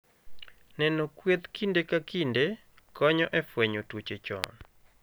Neno kweth kinde ka kinde, konyo e fwenyo tuoche chon.